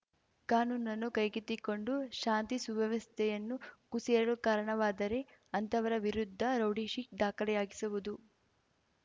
ಕಾನೂನನ್ನು ಕೈಗೆತ್ತಿಕೊಂಡು ಶಾಂತಿ ಸುವ್ಯವಸ್ಥೆಯನ್ನು ಕುಸಿಯಲು ಕಾರಣವಾದರೆ ಅಂಥವರ ವಿರುದ್ಧ ರೌಡಿಶೀಟ್‌ ದಾಖಲೆಯಾಗಿಸುವುದು